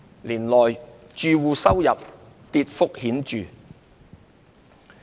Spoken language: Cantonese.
年內，住戶收入跌幅顯著。